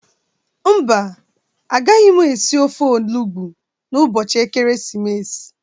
Mba, agaghị m esi ofe olugbụ n'ụbọchị Ekeresimesi.